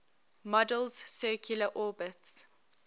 model's circular orbits